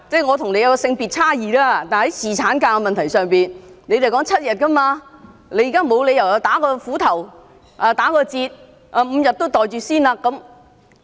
我跟你性別有差異，但是，在侍產假的問題上，你們也是要求7天，你們現在沒有理由"打斧頭"、打折扣 ，5 天也"袋住先"。